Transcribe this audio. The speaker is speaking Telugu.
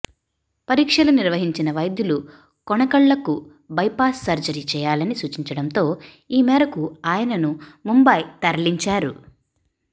పరీక్షలు నిర్వహించిన వైద్యులు కొనకళ్లకు బైపాస్ సర్జరీ చేయాలని సూచించడంతో ఈ మేరకు ఆయనను ముంబై తరలించారు